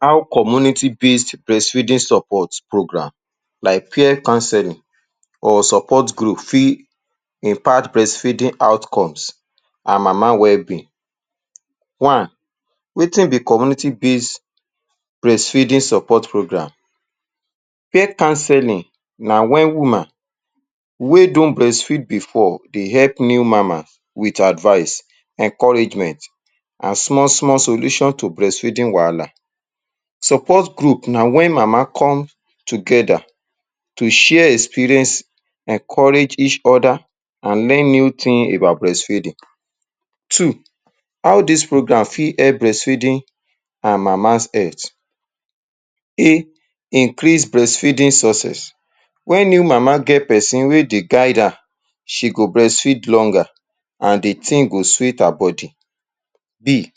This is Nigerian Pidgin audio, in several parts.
How community-based breastfeeding support program like peer counseling or support group fit impact breastfeeding outcomes and Mama wellbeing One, wetin be community-based breastfeeding support program? Peer counseling na when woman wey don breastfeed before dey help new Mama with advice, encouragement and small small solutions to breastfeeding wahala. Support group na when Mama come together to share experience, encourage each other and learn new thing about breastfeeding. Two, how dis program fit help breastfeeding and Mama’s health? A. Increase breastfeeding success. When new Mama get pesin wey dey guide her, she go breastfeed longer and the thing go sweet her body. B.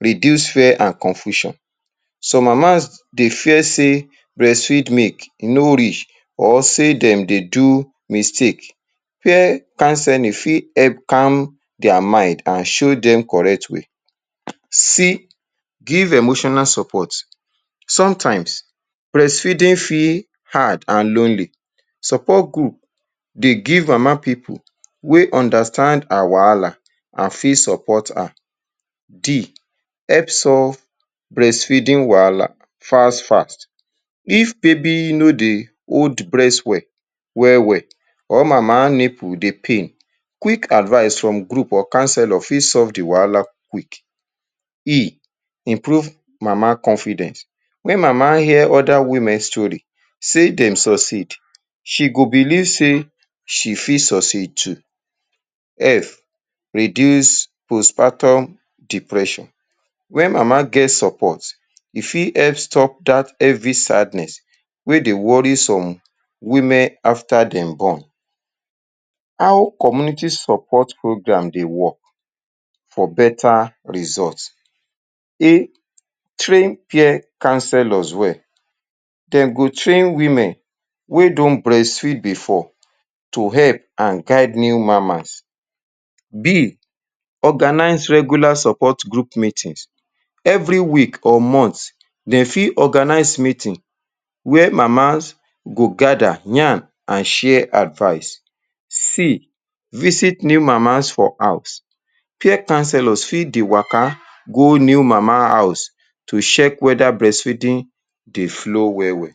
Reduce fear and confusion. Some Mamas dey fear say, breastfeed milk no reach or say dem dey do mistake. Peer counseling fit help calm their mind and show dem correct way. C. Give emotional support. Sometimes, breastfeeding fit hard and lonely. Support group dey give Mama pipu wey understand her wahala and fit support her. D. Help solve breastfeeding wahala fast fast. If baby no dey hold breast well wellwell or Mama nipple dey pain, quick advice from group or counselor fit solve the wahala quick. E. Improve Mama confidence. Make Mama hear other women story say dem succeed, she go believe say, she fit succeed too. F. Reduce postpartum depression. When Mama get support, e fit help stop dat heavy sadness wey dey worry some women after dem born. How community support program dey work for better result? A. Train peer counselors well. Dem go train women wey don breastfeed before to help and guide new Mamas. B. Organize regular support group meetings. Every week or month, dem fit organize meetings where Mamas go gather, yarn and share advice. C. Visit new Mamas for house. Peer counselors fit dey waka go new Mamas house to check whether breastfeeding dey flow well well.